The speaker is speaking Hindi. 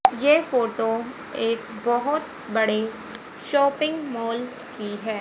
ये फोटो एक बहोत बड़ी शॉपिंग मॉल की है।